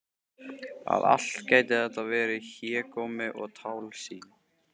Að allt gæti þetta verið hégómi og tálsýn!